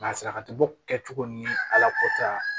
Masalatogo kɛcogo ni ala kɔta